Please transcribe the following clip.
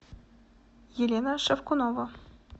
елена шавкунова